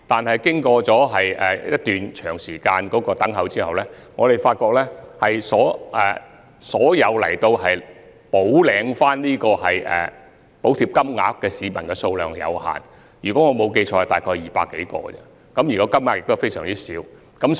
不過，經長時間等候，我們發現前來補領補貼的市民數量有限，如果我沒有記錯，只有200多人而已，而涉及的金額亦非常小。